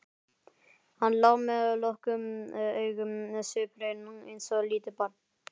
Hann lá með lokuð augun sviphreinn eins og lítið barn.